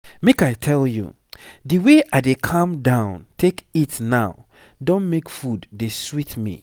make i tell you the way i dey calm down take eat now don make food dey sweet me.